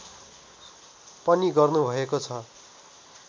पनि गर्नुभएको छ